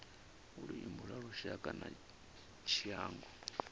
luimbo lwa lushaka na tshiangu